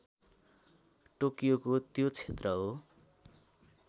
टोकियोको त्यो क्षेत्र हो